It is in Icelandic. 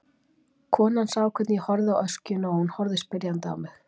Konan sá hvernig ég horfði á öskjuna og hún horfði spyrjandi á mig.